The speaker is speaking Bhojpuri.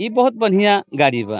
इ बहुत बढ़िया गाड़ी बा।